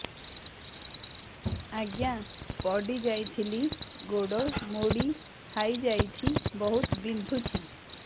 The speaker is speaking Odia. ଆଜ୍ଞା ପଡିଯାଇଥିଲି ଗୋଡ଼ ମୋଡ଼ି ହାଇଯାଇଛି ବହୁତ ବିନ୍ଧୁଛି